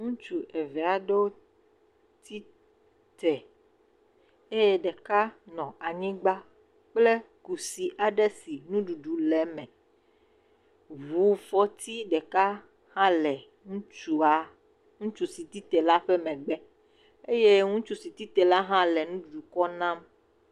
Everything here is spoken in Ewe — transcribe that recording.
Ŋutsu eve aɖewo tite eye ɖeka nɔ anyigba kple kusi aɖe si nuɖuɖu le eme, ʋufɔti ɖeka hã le ŋutsua, ŋutsu si tite le ƒe megbe eye ŋutsu si tite la hã nuɖuɖu kɔ nam.